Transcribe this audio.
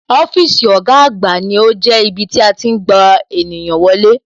Ọ́fíìsì ọ̀gá àgbà ní ó jẹ́ ibí tí a tí ń gba ènìyàn wọlé